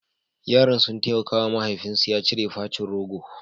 Yaran sun taimaka wa mahaifinsu ya cire facin rogo.